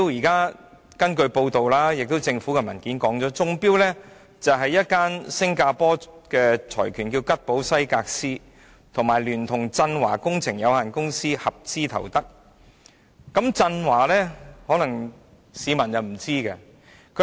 根據報道及政府的文件所指，中標的是吉寶西格斯香港有限公司這個新加坡財團與振華工程有限公司合資組成的公司。